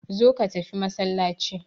Zo ka tafi masallaci.